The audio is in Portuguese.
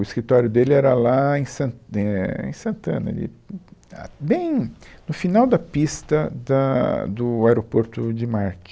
O escritório dele era lá em Sant, é, em Santana, ali, uh, ah, bem no final da pista da, do aeroporto de Marte.